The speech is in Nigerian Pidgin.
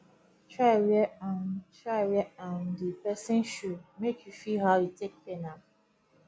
try wear um try wear um di pesin shoe mek you feel how e take pain am